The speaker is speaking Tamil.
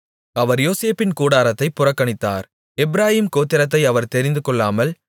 அவர் யோசேப்பின் கூடாரத்தைப் புறக்கணித்தார் எப்பிராயீம் கோத்திரத்தை அவர் தெரிந்துகொள்ளாமல்